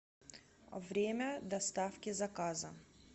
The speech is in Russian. время доставки заказа